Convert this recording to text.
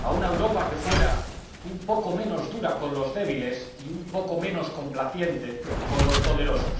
a una Europa que fuera un poco menos dura con los débiles y un poco menos complaciente con los poderosos.